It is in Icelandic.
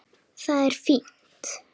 Það er fínt.